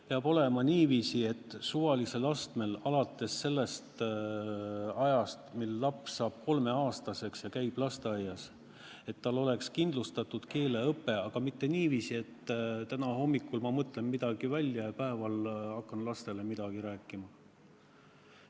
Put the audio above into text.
Peab olema niiviisi, et suvalisel astmel, alates sellest ajast, mil laps saab kolmeaastaseks ja käib lasteaias, on tal kindlustatud keeleõpe, aga mitte niiviisi, et täna hommikul ma mõtlen midagi välja ja päeval hakkan lastele midagi rääkima.